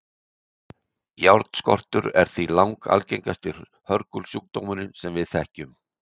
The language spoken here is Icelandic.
járnskortur er því langalgengasti hörgulsjúkdómurinn sem við þekkjum